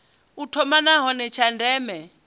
u thoma nahone tsha ndeme